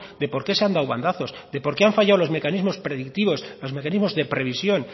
de porqué se han dado bandazos de porqué han fallado los mecanismos predictivos los mecanismos de previsión